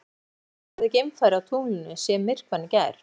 En hvernig hefði geimfari á tunglinu séð myrkvann í gær?